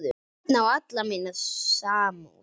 Örn á alla mína samúð.